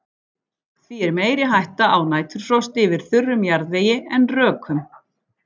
Því er meiri hætta á næturfrosti yfir þurrum jarðvegi en rökum.